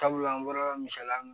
Sabula an bɔra misaliya la